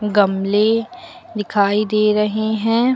गमले दिखाई दे रहे हैं।